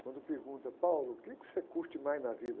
Quando pergunta, o quê que você curte mais na vida?